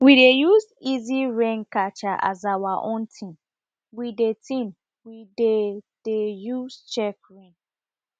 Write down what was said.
we dey use easy rain catcher as our own thing we dey thing we dey de use check rain